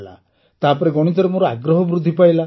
ତାପରେ ଗଣିତରେ ମୋର ଆଗ୍ରହ ବୃଦ୍ଧି ପାଇଲା